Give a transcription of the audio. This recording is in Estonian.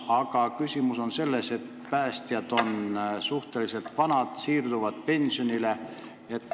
Aga küsimus on selles, et päästjad on suhteliselt vanad, paljud siirduvad peagi pensionile.